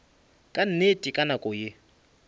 ka nnete ka nako ye